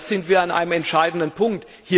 Und da sind wir an einem entscheidenden Punkt.